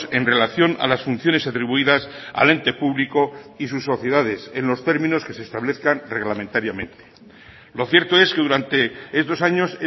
en relación a las funciones atribuidas al ente público y sus sociedades en los términos que se establezcan reglamentariamente lo cierto es que durante estos años